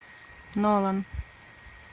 нолан